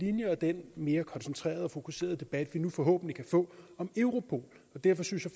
linjer og den mere koncentrerede og fokuserede debat vi nu forhåbentlig kan få om europol derfor synes jeg